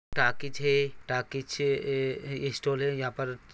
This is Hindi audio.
टॉकीज है टॉकीज --